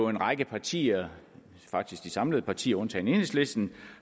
en række partier faktisk samtlige partier undtagen enhedslisten